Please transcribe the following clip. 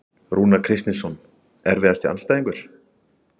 Rúnar Kristinsson Erfiðasti andstæðingur?